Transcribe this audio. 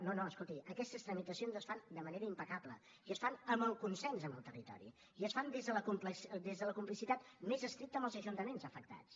no no escolti aquestes tramitacions es fan de manera impecable i es fan amb el consens amb el territori i es fan des de la complicitat més estricta amb els ajuntaments afectats